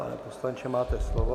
Pane poslanče, máte slovo.